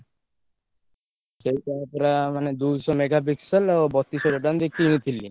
ସେଇଟା ପୁରା ମାନେ ଦୁଇଶହ mega pixel ଆଉ ବଟିଶ୍ ହାଜ଼ାର୍ ଟଙ୍କା ଦେଇ କିଣୀ ଥିଲି।